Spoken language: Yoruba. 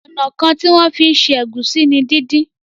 Ọnà kán tí wón fí ṣe Egusi ní dín dín.